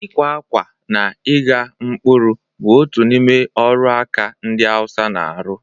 Ịkwa akwa na ịgha mkpụrụ bụ otu n'ime ọrụ aka ndị Hausa na-arụ.